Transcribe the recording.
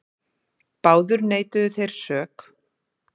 Báðir neituðu þeir sök.